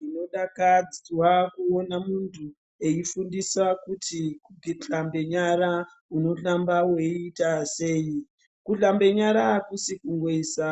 Ndinodaradza kuona muntu eifundisa kuti kuhlambe nyara unohlamba weita sei. Kuhlambe nyara akusi kungoisa